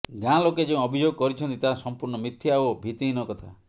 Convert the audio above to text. ଗାଁ ଲୋକେ ଯେଉଁ ଅଭିଯୋଗ କରିଛନ୍ତି ତାହା ସମ୍ପୂର୍ଣ୍ଣ ମିଥ୍ୟା ଓ ଭିତ୍ତିହୀନ କଥା